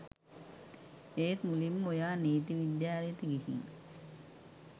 ඒත් මුලින්ම ඔයා නීති විද්‍යාලයට ගිහිං